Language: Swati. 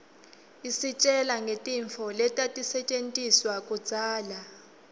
isitjela ngetintfo letatisetjentiswa kudzala